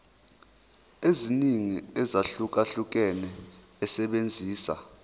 eziningi ezahlukahlukene esebenzisa